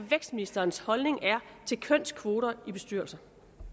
vækstministerens holdning er til kønskvoter i bestyrelser